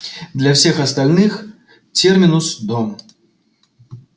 для всех остальных терминус дом